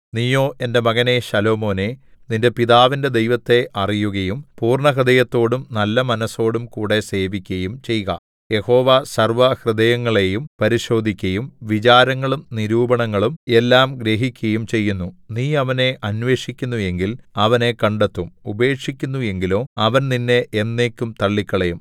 നീയോ എന്റെ മകനേ ശാലോമോനേ നിന്റെ പിതാവിന്റെ ദൈവത്തെ അറിയുകയും പൂർണ്ണഹൃദയത്തോടും നല്ലമനസ്സോടും കൂടെ സേവിക്കയും ചെയ്ക യഹോവ സർവ്വഹൃദയങ്ങളെയും പരിശോധിക്കയും വിചാരങ്ങളും നിരൂപണങ്ങളും എല്ലാം ഗ്രഹിക്കയും ചെയ്യുന്നു നീ അവനെ അന്വേഷിക്കുന്നു എങ്കിൽ അവനെ കണ്ടെത്തും ഉപേക്ഷിക്കുന്നു എങ്കിലോ അവൻ നിന്നെ എന്നേക്കും തള്ളിക്കളയും